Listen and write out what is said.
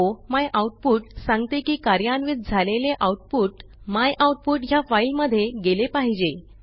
o my output सांगते की कार्यान्वित झालेले आऊटपुट मायआउटपुट ह्या फाईलमध्ये गेले पाहिजे